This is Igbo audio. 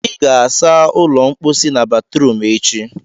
ị ga-asa ụlọ mposi na batrum echi!